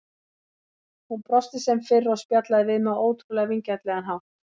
Hún brosti sem fyrr og spjallaði við mig á ótrúlega vingjarnlegan hátt.